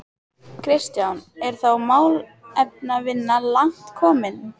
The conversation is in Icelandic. Kristján: Er þá málefnavinna langt komin?